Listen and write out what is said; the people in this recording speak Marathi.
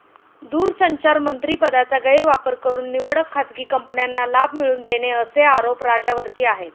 दूरसंचार मंत्रिपदाचा गैरवापर करून निवडक खाजगी कंपन्यांना लाभ मिळवून देणे असे आरोप राजा वरती आहेत.